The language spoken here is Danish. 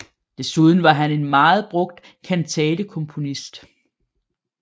Desuden var en meget brugt kantatekomponist